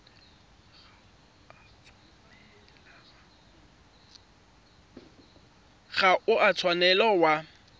ga o a tshwanela wa